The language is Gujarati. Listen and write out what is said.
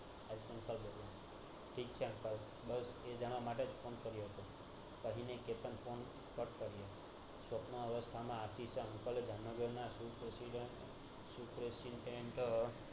ઠીક છે uncle બસ એ જાણવા માટેજ phone કર્યો તો કહીને કેતન એ phone cut કર્યો સ્વપ્ન અવસ્થામાં આશિષ ઊકલે